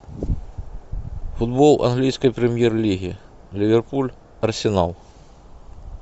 футбол английской премьер лиги ливерпуль арсенал